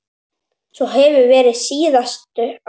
Svo hefur verið síðustu ár.